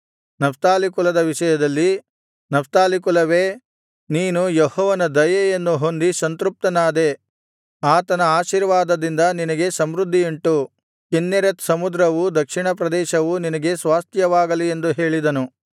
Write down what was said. Naphtali ಕುಲದ ವಿಷಯದಲ್ಲಿ Naphtali ಕುಲವೇ ನೀನು ಯೆಹೋವನ ದಯೆಯನ್ನು ಹೊಂದಿ ಸಂತೃಪ್ತನಾದೆ ಆತನ ಆಶೀರ್ವಾದದಿಂದ ನಿನಗೆ ಸಮೃದ್ಧಿಯುಂಟು ಕಿನ್ನೆರೆತ್ ಸಮುದ್ರವೂ ದಕ್ಷಿಣಪ್ರದೇಶವೂ ನಿನಗೆ ಸ್ವಾಸ್ತ್ಯವಾಗಲಿ ಎಂದು ಹೇಳಿದನು